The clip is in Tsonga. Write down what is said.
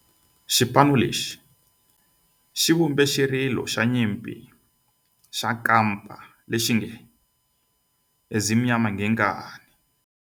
Xipano lexi xi vumbe xirilo xa nyimpi xa kampa lexi nge Ezimnyama Ngenkani.